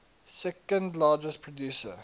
second largest producer